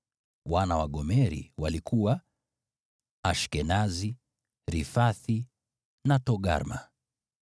Wana wa Gomeri walikuwa: Ashkenazi, Rifathi na Togarma.